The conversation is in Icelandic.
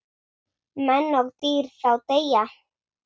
Menn og dýr þá deyja.